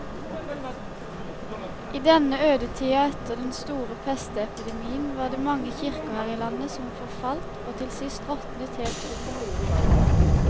I denne ødetida etter den store pestepidemien var det mange kirker her i landet som forfalt og til sist råtnet helt opp.